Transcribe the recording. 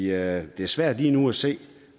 er svært lige nu at se